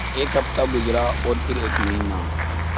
एक हफ़्ता गुज़रा और फिर एक महीना